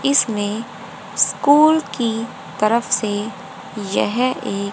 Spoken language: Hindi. इसमें स्कूल की तरफ से यह एक--